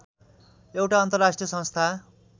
एउटा अन्तर्राष्ट्रिय संस्था